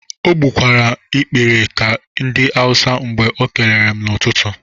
O gbụkwara m ikpere ka ndị awusi mgbe o kelere m n'ụtụtụ.